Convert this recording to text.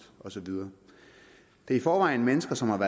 og så videre det er i forvejen mennesker som